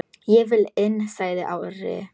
Ég vil inn, sagði Ari.